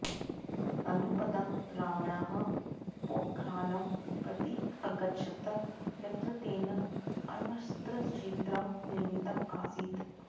अनुपदं रामण्णः पोख्रानं प्रति अगच्छत् यत्र तेन अण्वस्त्रक्षेत्रं निर्मितम् आसीत्